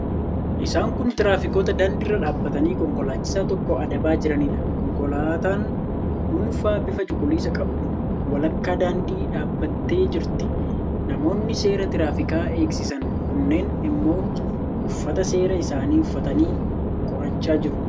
Isaan kun tiraafikoota daandii irra dhaabbatanii konkolaachisaa tokko adabaa jiraniidha. Konkolaataan dhuunfaa bifa cuquliisa qabdu walakkaa daandii dhaabbattee jirti. Namoonni seera tiraafikaa eegsisan kunneen immoo uffata seeraa isaanii uffatanii qorachaa jiru.